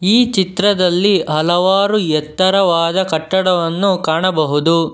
ಈ ಚಿತ್ರದಲ್ಲಿ ಹಲವಾರು ಎತ್ತರದವಾದ ಕಟ್ಟಡವನ್ನು ಕಾಣಬಹುದು.